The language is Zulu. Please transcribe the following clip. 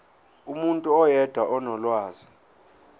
umuntu oyedwa onolwazi